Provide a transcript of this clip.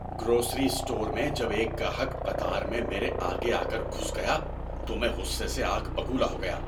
Grocery store میں جب ایک گاہک قطار میں میرے آگے آ کر گھس گیا تو میں غصے سے آگ بگولا ہو گیا۔